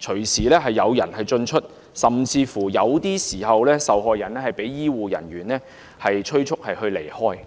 隨時有人進出，甚至有些時候，受害人會被醫護人員催促離開。